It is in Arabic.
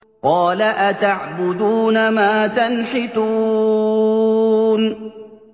قَالَ أَتَعْبُدُونَ مَا تَنْحِتُونَ